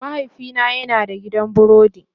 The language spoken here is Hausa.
Mahaifina yana da gidan burodi.